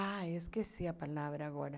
Ah, esqueci a palavra agora.